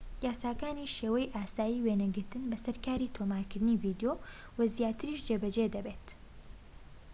یاساکانی شێوەی ئاسایی وێنەگرتن بە سەر کاری تۆمارکردنی ڤیدیۆ و زیاتریش جێبەجێ دەبێت